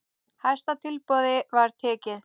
Hæsta tilboði var tekið.